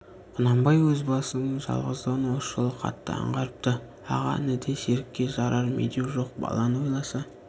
құнанбай өз басының жалғыздығын осы жолы қатты аңғарыпты аға ініде серікке жарар медеу жоқ баланы ойласа